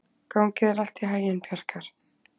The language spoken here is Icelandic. Gangi þér allt í haginn, Bjarkar.